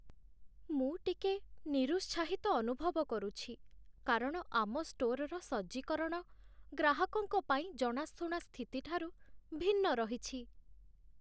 ମୁଁ ଟିକେ ନିରୁତ୍ସାହିତ ଅନୁଭବ କରୁଛି କାରଣ ଆମ ଷ୍ଟୋର୍‌ର ସଜ୍ଜୀକରଣ ଗ୍ରାହକଙ୍କ ପାଇଁ ଜଣାଶୁଣା ସ୍ଥିତି ଠାରୁ ଭିନ୍ନ ରହିଛି